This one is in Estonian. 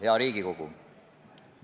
Hea Riigikogu!